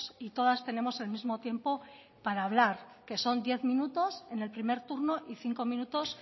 y todas tenemos el mismo tiempo para hablar que son diez minutos en el primer turno y cinco minutos